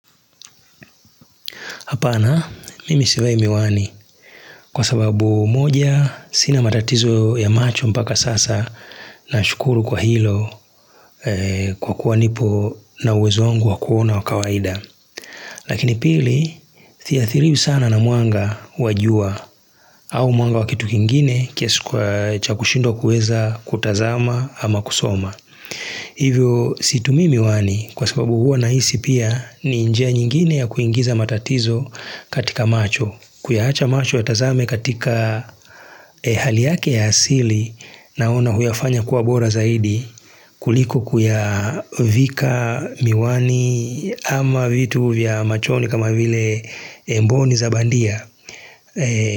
Hapana mimi sivai miwani kwa sababu moja sina matatizo ya macho mpaka sasa nashukuru kwa hilo kwa kuwa nipo na uwezo wangu wa kuona wa kawaida. Lakini pili thiathiriwi sana na mwanga wa jua au mwanga wa kitu kingine kiasi cha kushindwa kuweza kutazama ama kusoma. Hivyo situmii miwani kwa sababu huwa nahisi pia ni njia nyingine ya kuingiza matatizo katika macho Kuyahacha macho yatazame katika hali yake ya asili naona huyafanya kuwa bora zaidi kuliko kuyavika miwani ama vitu vya machoni kama vile mboni za bandia.